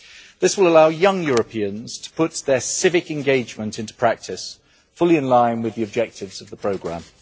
This will allow young Europeans to put their civic engagement into practice fully in line with the objectives of the programme.